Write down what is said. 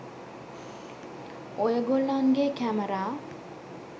ඔය ගොල්ලන්ගේ කැමරා